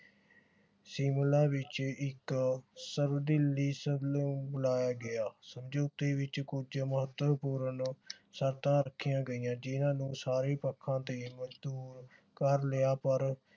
ਸ਼ਿਮਲਾ ਵਿਚ ਇਕ ਸਰਵ ਦਿਲੀ ਬੁਲਾਇਆ ਗਿਆ। ਸੰਯੁਕਤੀ ਵਿਚ ਕੁਝ ਮਹੱਤਵਪੂਰਨ ਸ਼ਰਤਾਂ ਰੱਖੀਆਂ ਗਈਆਂ ਜਿਨ੍ਹਾਂ ਨੂੰ ਸਾਰੇ ਪੱਖਾਂ ਤੇ ਮੰਨਜੂਰ ਕਰ ਲਿਆ ਪਰ